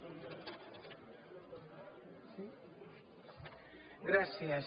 gràcies